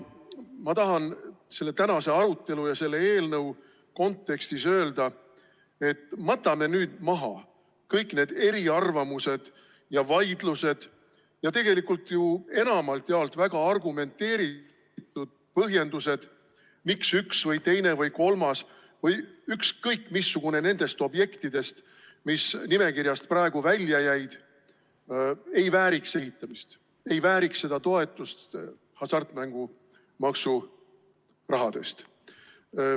Ma tahan selle tänase arutelu ja selle eelnõu kontekstis öelda, et matame nüüd maha kõik eriarvamused ja vaidlused ja tegelikult ju enamalt jaolt väga argumenteeritud põhjendused, miks üks või teine või kolmas või ükskõik missugune nendest objektidest, mis nimekirjast praegu välja jäid, ei vääriks ehitamist, ei vääriks toetust hasartmängumaksu rahast.